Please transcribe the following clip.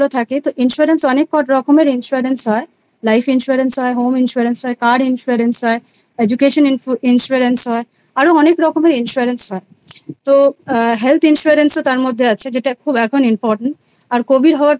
থাকে। তো Insurance অনেক রকমেরInsurance হয় - Life Insurance হয়, Home Insurance হয়, Car Insurance হয়, Education Insurance হয় আরও অনেক রকমের Insurance হয়। তো আ Health Insurance ও তার মধ্যে আছে যেটা এখন খুব Important আর Covid হওয়ার পর